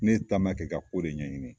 Ne taama kɛ, ka ko de ɲɛɲini